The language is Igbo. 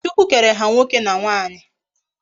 Chukwu kere ha nwoke na nwanyi